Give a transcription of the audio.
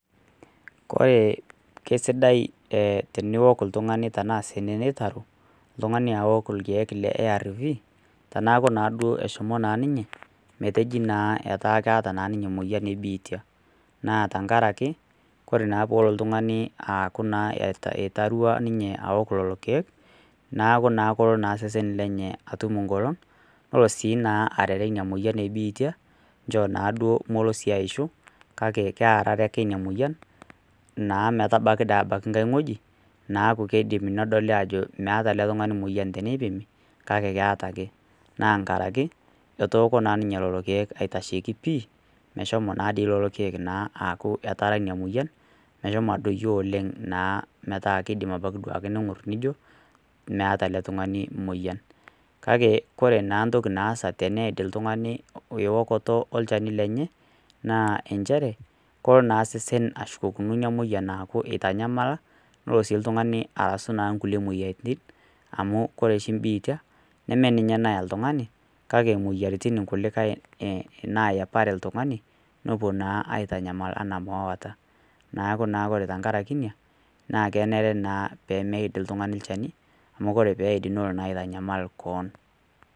Ore kesidai teniwok oltung'ani irkeek lee ARVs teneku etejoki keeta ninye emoyian ee bitia naa tenkaraki ore naa pelo oltung'ani aku eterua aku kewok lelo kake naa keku osesen lenye sidai nelo arare emoyian ata melo duo ayishu kak kearare ake ena moyian ometabaiki enkae wueji naji metaa ele tung'ani ena moyian tenipimi kake keeta ake naa nkaraki etoko Leo keek aitasheki pii mehomo lelo keek naa aku atar ena moyian mehomo adoyio oleng metaa kidim nijo metaa ele tung'ani emoyian kae teneyid oltung'ani eitu ewok irkeek naa kelo ena moyian aitanyamal nelo sii oltung'ani arashu nkulie moyiaritin amu ore oshi bitia neme ninye Naya oltung'ani kake nkulie moyiaritin nayaoare oltung'ani nepuonu nepuo aitanyamal poo kota neeku ore tenkaraki ena kenare neyid oltung'ani olchani amu teneyid nelo aitanyamal kewon